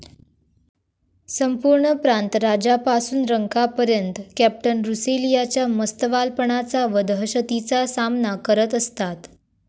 संपूर्ण प्रांत राजापासून रंकापर्यत कॅप्टन रुसेलियाच्या मस्तवालपणाचा व दहशतीचा सामना करत असतात.